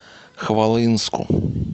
хвалынску